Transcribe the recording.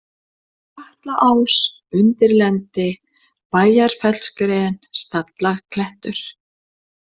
Katlaás, Undirlendi, Bæjarfellsgren, Stallaklettur